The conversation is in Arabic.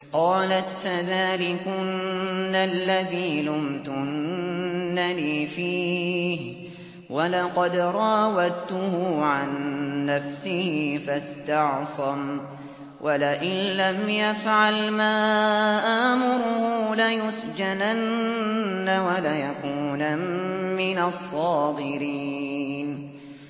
قَالَتْ فَذَٰلِكُنَّ الَّذِي لُمْتُنَّنِي فِيهِ ۖ وَلَقَدْ رَاوَدتُّهُ عَن نَّفْسِهِ فَاسْتَعْصَمَ ۖ وَلَئِن لَّمْ يَفْعَلْ مَا آمُرُهُ لَيُسْجَنَنَّ وَلَيَكُونًا مِّنَ الصَّاغِرِينَ